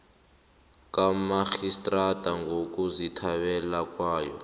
kamarhistrada ngokuzithandela kwayo